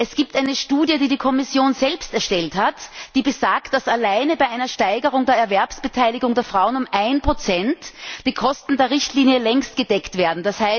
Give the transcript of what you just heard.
Es gibt eine Studie, die die Kommission selbst erstellt hat, die besagt, dass alleine bei einer Steigerung der Erwerbsbeteiligung der Frauen um ein Prozent die Kosten der Richtlinie längst gedeckt wären.